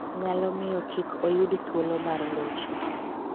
nyalo miyo kik oyud thuolo mar locho.